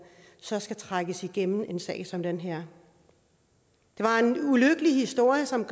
så skal trækkes igennem en sag som den her det var en ulykkelig historie som